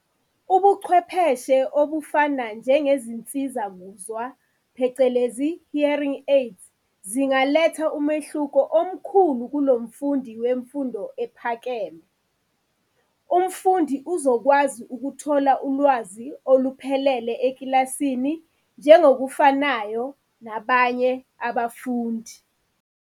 Ubuchwepheshe obufana nje ngezinsiza-kuzwa phecelezi, hearing aids, zingaletha umehluko omkhulu kulo mfundi wemfundo ephakeme. Umfundi uzokwazi ukuthola ulwazi oluphelele ekilasini, njengokufanayo nabanye abafundi.